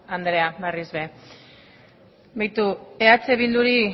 andrea berriz ere beitu eh bilduri